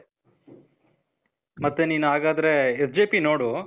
ಮತ್ತೇ ನೀನು ಹಾಗಾದ್ರೆ SJP ನೋಡೂ.